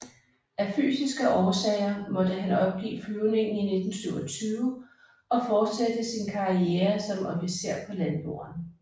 Af fysiske årsager måtte han opgive flyvningen i 1927 og fortsætte sin karriere som officer på landjorden